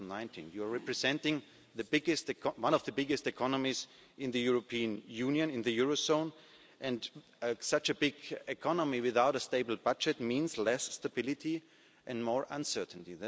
for 2019. You are representing one of the biggest economies in the European Union, in the eurozone, and such a big economy without a stable budget means less stability and more uncertainty.